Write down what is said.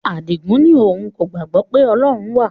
Adigun ní òun kò gbàgbọ́ pé Ọlọ́run wà